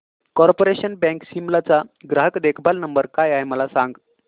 corporation Bank Shimla चा ग्राहक देखभाल नंबर काय आहे मला सांग